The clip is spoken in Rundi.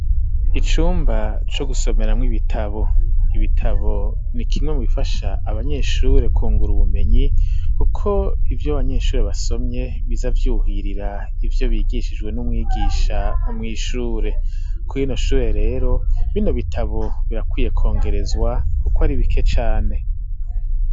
Icumba co gusomeramwo ibitabo. Ibitabo ni kimwe mu bifasha abanyeshure kwungura ubumenyi kuko ivyo abanyeshure basomye biza vyuhirira ivyo bigishijwe n'umwigisha mw'ishure. Kuri rino shure rero, bino bitabo birakwiye kwongerezwa kuko ari bike cane.